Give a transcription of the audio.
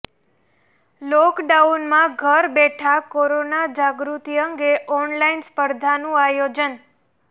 લોકડાઉનમાં ઘર બેઠા કોરોના જાગૃતિ અંગે ઓનલાઇન સ્પર્ધાનું આયોજન